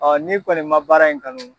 Ɔ ni kɔni ma baara in kanu